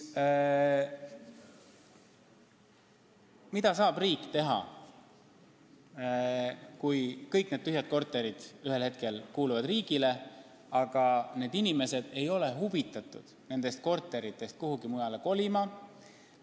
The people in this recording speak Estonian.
Mida saab riik teha, kui kõik need tühjad korterid ühel hetkel kuuluvad riigile, aga need inimesed ei ole huvitatud oma kodust kuhugi mujale kolima.